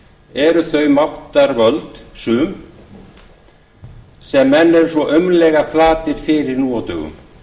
eru þau máttarvöld sum sem menn eru svo aumlega flatir fyrir nú á dögum